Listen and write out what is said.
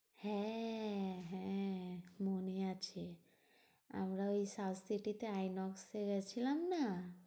হ্যাঁ হ্যাঁ মনে আছে আমরা ওই সাউথ সিটি তে আইনক্স এ গেছিলাম না?